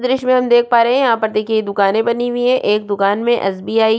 दृश्य में हम देख पा रहै हैं यहाँ पर देखिये दुकाने बनी हुई है एक दुकान मे एसबीआय --